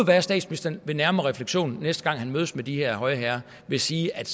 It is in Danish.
være at statsministeren ved nærmere refleksion næste gang han mødes med de her høje herrer vil sige at